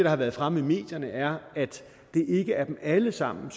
har været fremme i medierne er at det ikke er dem alle sammen